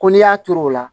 Ko n'i y'a turu o la